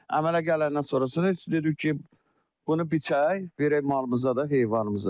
Əmələ gələndən sonrasını heç dedik ki, bunu biçək, verək malımıza da, heyvanımıza da.